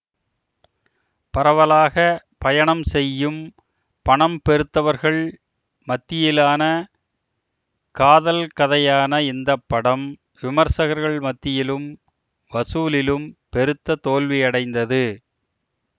பரவலாக பயணம் செய்யும் பணம்பெருத்தவர்கள் மத்தியிலான காதல் கதையான இந்த படம் விமர்சகர்கள் மத்தியிலும் வசூலிலும் பெருத்த தோல்வியடைந்தது